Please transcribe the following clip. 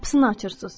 Qapısını açırsız.